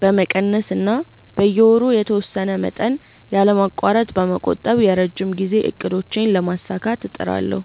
በመቀነስ እና በየወሩ የተወሰነ መጠን ያለማቋረጥ በመቆጠብ የረጅም ጊዜ እቅዶቼን ለማሳካት እጥራለሁ።